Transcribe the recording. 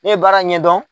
Ne ye baara ɲɛdɔn